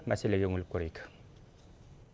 мәселеге үңіліп көрейік